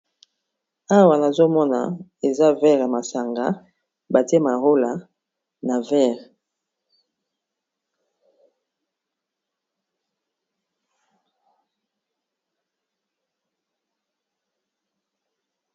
Awa nazomona eza verre ya masanga batie marola na verre.